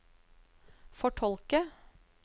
fortolke